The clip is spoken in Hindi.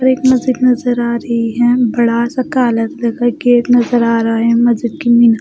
और एक मस्जिद नज़र आ रही है बड़ा सा कालक लगा गेट नजर आ रहा है मस्जिद --